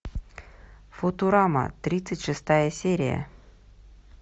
футурама тридцать шестая серия